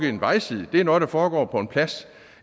i en vejside det er noget der foregår på en plads